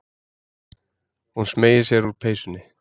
Hún smeygir sér úr peysunni.